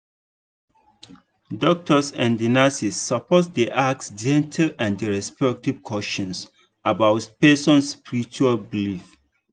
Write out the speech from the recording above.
doctors and nurses suppose dey ask gentle and respectful questions about person spiritual belief.